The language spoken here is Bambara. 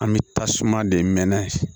An bɛ tasuma de mɛnɛ